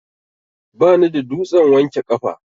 Bani da dutsen wanke kafa.